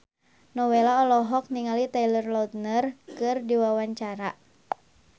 Nowela olohok ningali Taylor Lautner keur diwawancara